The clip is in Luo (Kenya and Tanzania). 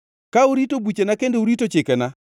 Ka urito buchena kendo urito chikena,